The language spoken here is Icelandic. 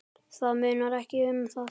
Það munar ekki um það.